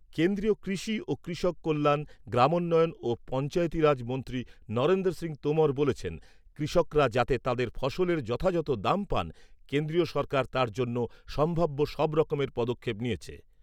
কেন্দ্রীয় কৃষি ও কৃষক কল্যাণ, গ্রামোন্নয়ন ও পঞ্চায়েতীরাজ মন্ত্রী নরেন্দ্র সিংহ তোমর বলেছেন, কৃষকরা যাতে তাঁদের ফসলের যথাযথ দাম পান, কেন্দ্রীয় সরকার তার জন্য সম্ভাব্য সব রকমের পদক্ষেপ নিয়েছে।